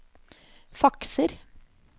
fakser